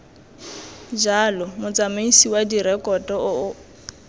jalo motsamaisi wa direkoto o